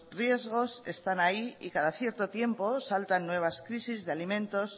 riesgos están ahí y cada cierto tiempo saltan nuevas crisis de alimentos